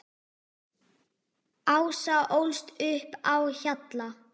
Ása ólst upp á Hjalla.